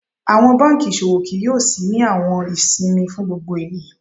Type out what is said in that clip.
Awọn banki iṣowo kii yoo ṣii ni awọn isinmi fún gbogbo eniyan.